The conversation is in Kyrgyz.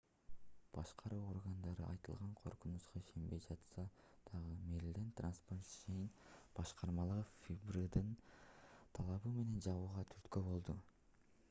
башкаруу органдары айтылган коркунучка ишенбей жатса дагы мериленд транспортейшен башкармалыгы фбрдин талабы менен жабууга түрткү болду